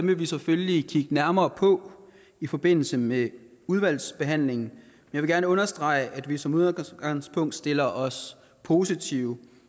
vi selvfølgelig kigge nærmere på i forbindelse med udvalgsbehandlingen men vil gerne understrege at vi som udgangspunkt stiller os positive